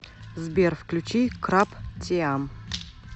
сбер включи крап теам